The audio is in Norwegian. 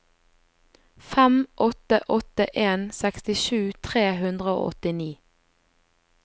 fem åtte åtte en sekstisju tre hundre og åttini